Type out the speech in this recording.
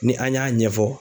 Ni an y'a ɲɛ.